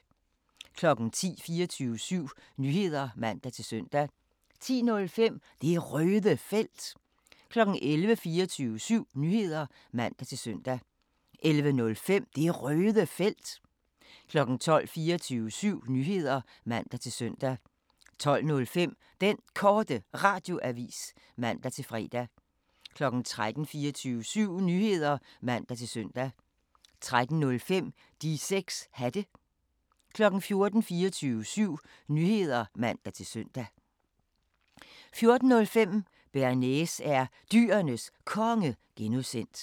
10:00: 24syv Nyheder (man-søn) 10:05: Det Røde Felt 11:00: 24syv Nyheder (man-søn) 11:05: Det Røde Felt 12:00: 24syv Nyheder (man-søn) 12:05: Den Korte Radioavis (man-fre) 13:00: 24syv Nyheder (man-søn) 13:05: De 6 Hatte 14:00: 24syv Nyheder (man-søn) 14:05: Bearnaise er Dyrenes Konge (G)